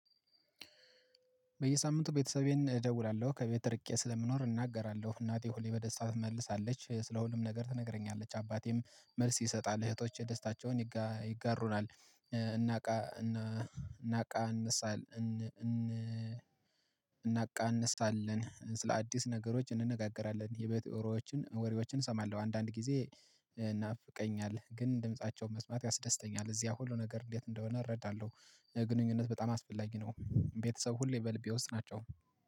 በየሳምንቱ ቤተሰቤን እደውላለሁ ከቤት ርቄ ስለምኖር እናገራለሁ እናቴ ሁሌ በደስታ ትመልሳለች ስለ ሁሉም ነገር ትነግረኛለች አባቴም መልስ ይሰጣል እህቶቼ ደስታቸውን ይጋሩናል። እናቃ እንሳል እናቃ እንሰራለን። እናቃንሳለን ስለ አዲስ ነገሮች እንነጋገራለን የቤተ ወሮዎችን ወሬዎችን እሰማለሁ አንዳንድ ጊዜ። እናፍቀኛለን ግን ድምፃቸውን መስማት ያስደስተኛል እዚያ ሁሉ ነገር እንዴት እንደሆነ እረዳለሁ። ግንኙነት በጣም አስፈላጊ ነው። ቤተሰብ ሁሌ በልብ ውስጥ ናቸው